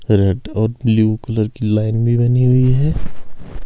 Red और blue colour की line भी बनी हुई है।